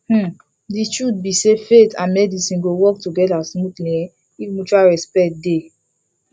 um the truth be sayfaith and medicine go work together smoothly um if mutual respect dey